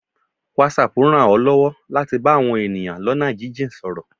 Whatsapp rań ọ lọwọ latí bá awọn eníyan lona jin-jin sọrọ